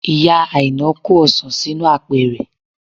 Ìyá Aina kó ọsàn sínú apẹ̀rẹ̀